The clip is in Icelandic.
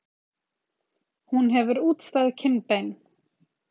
Hún hefur útstæð kinnbein.